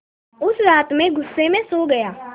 उस रात मैं ग़ुस्से में सो गया